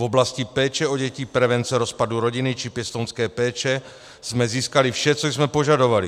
V oblasti péče o děti, prevence rozpadu rodiny či pěstounské péče jsme získali vše, co jsme požadovali.